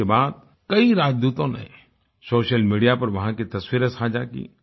इसके बाद कई राजदूतों ने सोशल मीडिया पर वहां की तस्वीरें साझा की